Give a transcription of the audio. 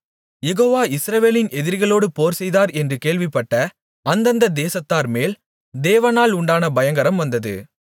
யெகோவா இஸ்ரவேலின் எதிரிகளோடு போர்செய்தார் என்று கேள்விப்பட்ட அந்தந்த தேசத்தார்மேல் தேவனால் உண்டான பயங்கரம் வந்தது